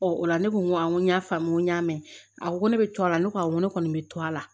o la ne ko awɔ n ko y'a faamu n ko n y'a mɛn a ko ne bɛ to a la ne ko awɔ n ko ne kɔni bɛ to a la